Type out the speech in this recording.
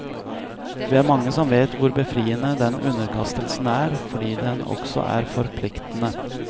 Vi er mange som vet hvor befriende den underkastelsen er, fordi den også er forpliktende.